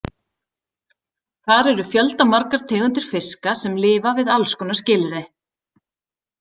Þar eru fjöldamargar tegundir fiska sem lifa við alls konar skilyrði.